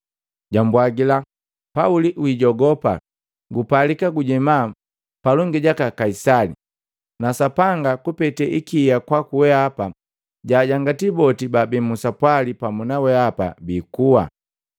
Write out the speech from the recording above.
jambwagila, “Pauli, wijogopa! Gupalika kujema palongi jaka Kaisali, na Sapanga kupete ikia kwaku weapa, jajangati boti baabi musapwali pamu na weapa biikua.